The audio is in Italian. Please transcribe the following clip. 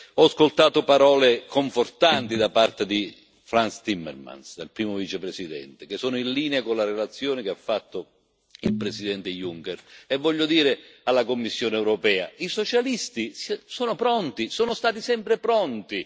Ho ascoltato parole confortanti da parte di Frans Timmermans, primo Vicepresidente, che sono in linea con la relazione che ha fatto il presidente Juncker e voglio dire alla Commissione europea i socialisti sono pronti, sono stati sempre pronti!